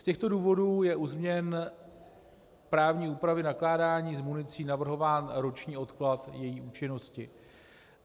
Z těchto důvodů je u změn právní úpravy nakládání s municí navrhován roční odklad její účinnosti.